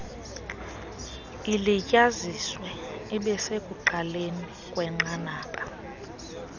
ilityaziswe ibesekuqaleni kwenqanaba